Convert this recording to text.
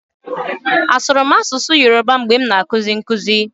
Asụrụ m asụsụ Yoroba mgbe m na-akụzi nkụzi?